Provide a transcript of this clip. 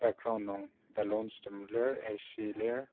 Background nung ballons tem lir ac lir.